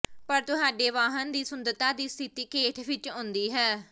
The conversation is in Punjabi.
ਪਰ ਤੁਹਾਡੇ ਵਾਹਨ ਦੀ ਸੁੰਦਰਤਾ ਦੀ ਸਥਿਤੀ ਖੇਡ ਵਿਚ ਆਉਂਦੀ ਹੈ